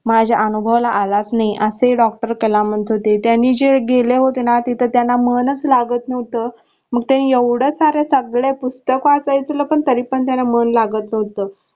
माझ्या अनुभवाला आलाच नाही असे Doctor कलाम म्हणत होते त्यांनी जे गेले होते ना तिथे त्यांना मनचं लागत नव्हत मग ते एवढे सारे सगळे पुस्तक वाचायचे पण तरी पण त्याच मन लागत नव्हत.